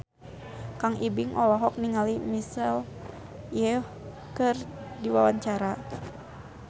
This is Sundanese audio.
Kang Ibing olohok ningali Michelle Yeoh keur diwawancara